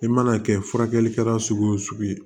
I mana kɛ furakɛli kɛla sugu wo sugu ye